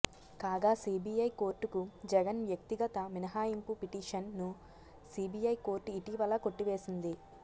కాగా సిబిఐ కోర్టుకు జగన్ వ్యక్తిగత మినహాయింపు పిటిషన్ ను సిబిఐ కోర్టు ఇటీవల కొట్టివేసింది